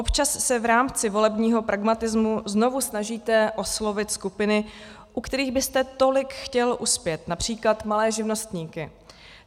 Občas se v rámci volebního pragmatismu znovu snažíte oslovit skupiny, u kterých byste tolik chtěl uspět, například malé živnostníky.